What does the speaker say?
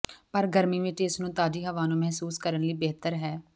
ਪਰ ਗਰਮੀ ਵਿੱਚ ਇਸ ਨੂੰ ਤਾਜ਼ੀ ਹਵਾ ਨੂੰ ਮਹਿਸੂਸ ਕਰਨ ਲਈ ਬਿਹਤਰ ਹੈ